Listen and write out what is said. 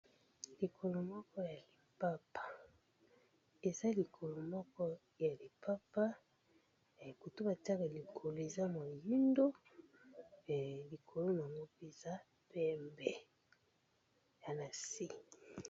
Likolo moko ya lipapa . Eza likolo moko ya lipapa, côte ba tiaka likolo eza moyindo, pe likolo na eza pembe na se .